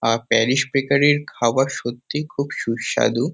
আ Paris বেকারির খাবার সত্যিই খুব সুস্বাদু।